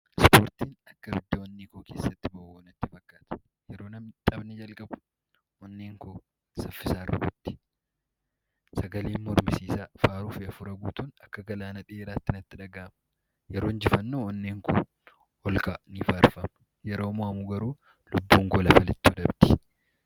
Ispoortiin akka ibidda onnee Koo keessaa boba'u natti fakkaata. Yeroo taphni jalaqabu onneen koo saffisaan rukutti, yetoo injifannoo onneen Koo olka'aa, ni faarfama yeroo mo'amuu garuu lubbuun lafa lixxu dhabdi.